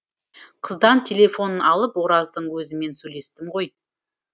қыздан телефонын алып ораздың өзімен сөйлестім ғой